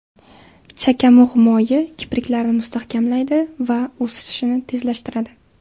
Chakamug‘ moyi kipriklarni mustahkamlaydi va o‘sishini tezlashtiradi.